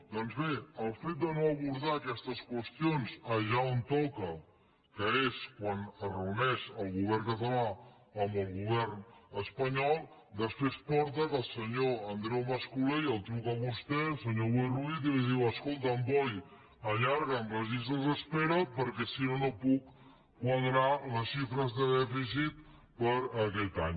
doncs bé el fet de no abordar aquestes qüestions allà on toca que és quan es reuneix el govern català amb el govern espanyol després porta al fet que el senyor andreu mas·colell el truca a vostè senyor boi ruiz i li diu escolta boi allarga’m les llistes d’espera perquè si no no puc quadrar les xifres de dèficit per aquest any